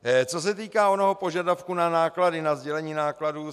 Co se týká onoho požadavku na náklady, na sdělení nákladů.